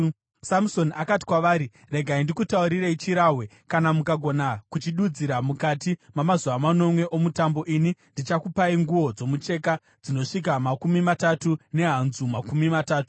Samusoni akati kwavari, “Regai ndikutaurirei chirahwe. Kana mukagona kuchidudzira mukati mamazuva manomwe omutambo, ini ndichakupai nguo dzomucheka dzinosvika makumi matatu nehanzu makumi matatu.